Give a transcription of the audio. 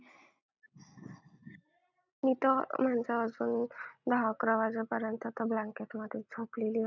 मी तर दहा अकरा वाजेपर्यंत आता blanket मध्येच झोपलेली असते.